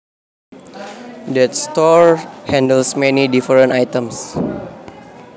That store handles many different items